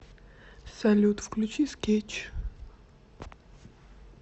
салют включи скетч